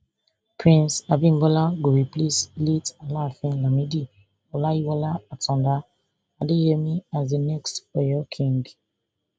prince abimbola go replace late afaafin lamidi olayiwola atanda adeyemi as di next oyo king